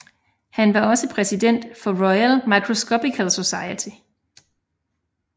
Han var også præsident for Royal Microscopical Society